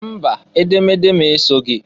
Mba! Edemede m esoghi.